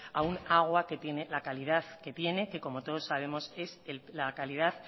a un agua que tiene la calidad que tiene que como todos sabemos es la calidad